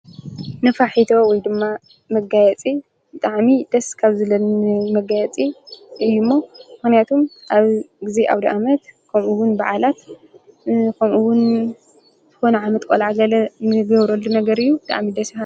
ንፋሕ ሒተ ወይ ድማ መጋየፂ ጠዓሚ ደስካብ ዘለ ን መጋየፂ እዩ እሞ ሕንያቱም ኣብ ጊዜ ኣውዲ ኣመት ከምኡውን በዓላት ከምኡውን ተሆነ ዓመጥ ቈልዓጋለ ንገብረሉ ነገር እዩ ደኣሚ ደሣ።